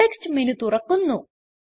context menu തുറക്കുന്നു